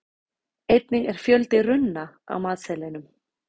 einnig er fjöldi runna á matseðlinum